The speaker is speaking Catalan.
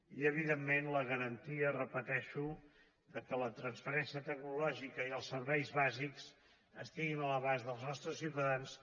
i evidentment la garantia ho repeteixo que la transferència tecnològica i els serveis bàsics estiguin a l’abast dels nostres ciutadans